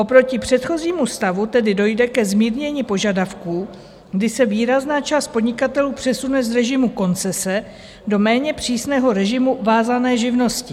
Oproti předchozímu stavu tedy dojde ke zmírnění požadavků, kdy se výrazná část podnikatelů přesune z režimu koncese do méně přísného režimu vázané živnosti.